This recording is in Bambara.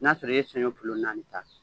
N'a sɔrɔ i ye saɲɔn naani ta